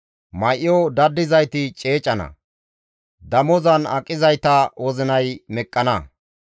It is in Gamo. May7o dadizayti ceecana; damozan aqizayta wozinay meqqana.